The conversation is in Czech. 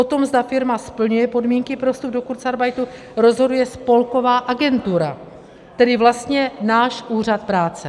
O tom, zda firma splňuje podmínky pro vstup do kurzarbeitu, rozhoduje spolková agentura, tedy vlastně náš úřad práce.